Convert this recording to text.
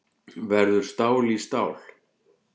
Verður stál í stál